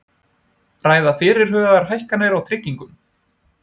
Ræða fyrirhugaðar hækkanir á tryggingum